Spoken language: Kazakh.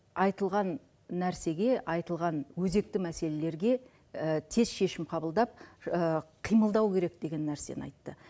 айтылған нәрсеге айтылған өзекті мәселелерге тез шешім қабылдап қимылдау керек деген нәрсені айтты